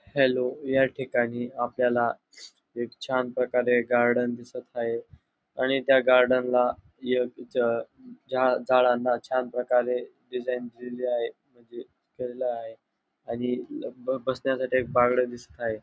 Hello या ठिकाणी आपल्याला एक छान प्रकारे गार्डन दिसत आहे आणि त्या गार्डन ला एक झ झा झाडांना छान प्रकारे डिझाईन दिलेली आहे म्हणजे केलेलं आहे आणि ब बसण्यासाठी एक बाकड दिसत आहे.